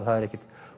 það er ekkert